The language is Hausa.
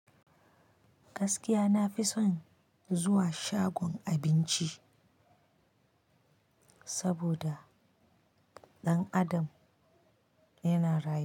Gaskiya na fi son zuwa shagon abinci saboda dan Adam yana rayuwa.